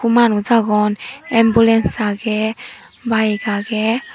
manus awgon ambulance aage bike aage.